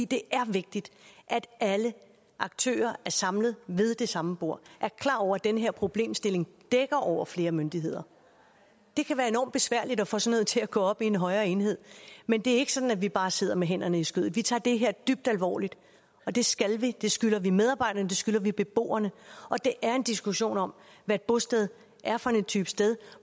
det er vigtigt at alle aktører er samlet ved det samme bord og den her problemstilling dækker over flere myndigheder det kan være enormt besværligt at få sådan noget til at gå op i en højere enhed men det er ikke sådan at vi bare sidder med hænderne i skødet vi tager det her dybt alvorligt og det skal vi det skylder vi medarbejderne og det skylder vi beboerne det er en diskussion om hvad et bosted er for en type sted